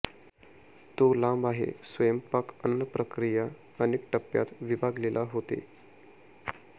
तो लांब आहे स्वयंपाक अन्न प्रक्रिया अनेक टप्प्यात विभागलेला होते